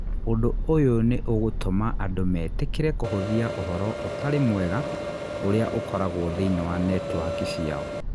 Ũndũ ũyũ nĩ ĩgũtũma andũ metĩkĩre kũhũthia ũhoro ũtarĩ mwega ũrĩa ũkoragwo thĩinĩ wa netiwaki ciao.